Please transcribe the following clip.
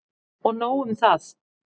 Og nóg um það!